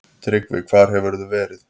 TRYGGVI: Hvar hefurðu verið?